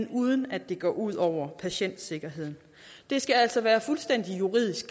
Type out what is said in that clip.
uden at det går ud over patientsikkerheden det skal altså være juridisk